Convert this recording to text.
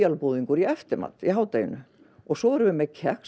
búðingur í eftirmat í hádeginu og svo erum við með kex